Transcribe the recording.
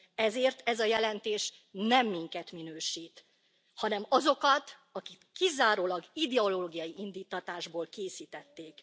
Ezért ez a jelentés nem minket minősít, hanem azokat, akik kizárólag ideológiai indíttatásból készítették.